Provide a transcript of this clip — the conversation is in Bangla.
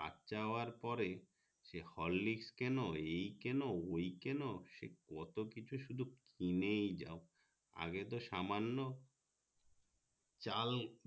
বাছা হওয়ার পরে সেই horlicks কেনো এই কেনো ওই কেনো সে কত কিছু কিনেই যাও আগে তো সামান্য চাল